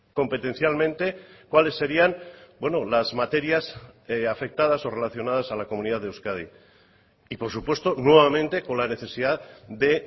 competencialmente cuáles serían las materias afectadas o relacionadas a la comunidad de euskadi y por supuesto nuevamente con la necesidad de